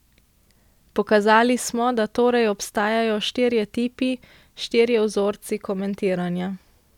Pokazali smo, da torej obstajajo štirje tipi, štirje vzorci komentiranja.